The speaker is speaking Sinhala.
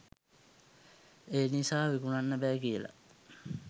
ඒ නිසා විකුණන්න බෑ කියලා.